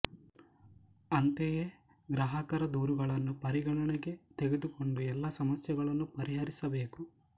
ಅಂತೆಯೆ ಗ್ರಾಹಕರ ದೂರುಗಳನ್ನು ಪಾರಿಗಣನೆಗೆ ತೆಗೆದುಕೊಂಡು ಎಲ್ಲಾ ಸಮಸ್ಯೆಗಳನ್ನು ಪರಿಹರಿಸಬೇಕು